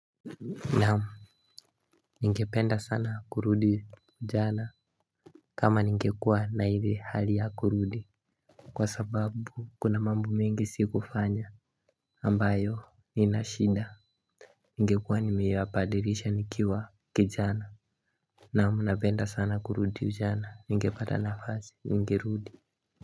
Naam. Ningependa sana kurudi ujana. Kama ningekua na ile hali ya kurudi kwa sababu kuna mambo mingi sikufanya ambayo inashinda. Ningekua nimeyapadirisha nikiwa kijana. Naam napenda sana kurudi ujana ningepata nafasi ningerudi.